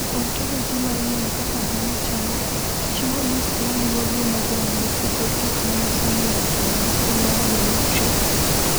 "Ontoloji mar ng’eyo kaka dhano chalo, chiwo list ma luwogi mag ranyisi kod gik ma nyiso ni ng’ato nigi tuwo mar Menetrier."